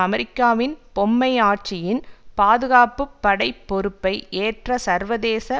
அமெரிக்காவின் பொம்மை ஆட்சியின் பாதுகாப்பு படை பொறுப்பை ஏற்ற சர்வதேச